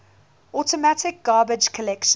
automatic garbage collection